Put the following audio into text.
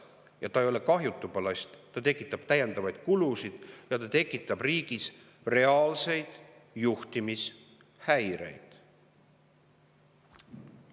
Ja see ei ole kahjutu ballast, sest see tekitab täiendavaid kulusid ja see tekitab riigis reaalseid juhtimishäireid.